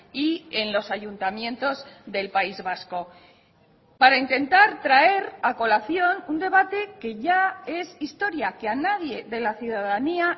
y en los ayuntamientos del país vasco para intentar traer a colación un debate que ya es historia que a nadie de la ciudadanía